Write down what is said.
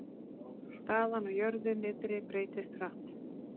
Staðan á jörðu niðri breytist hratt